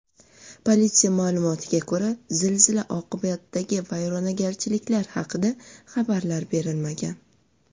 Politsiya ma’lumotlariga ko‘ra, zilzila oqibatidagi vayronagarchiliklar haqida xabarlar berilmagan.